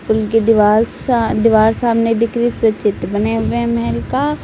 उनकी दीवाल सा दीवार सामने दिख रही है उसपे चित्र बने हुए हैं महल का।